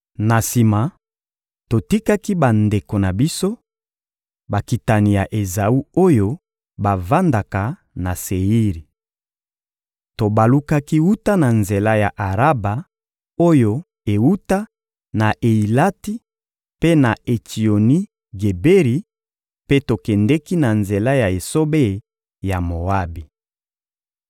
Na sima, totikaki bandeko na biso, bakitani ya Ezawu oyo bavandaka na Seiri. Tobalukaki wuta na nzela ya Araba oyo ewuta na Eyilati mpe na Etsioni-Geberi, mpe tokendeki na nzela ya esobe ya Moabi.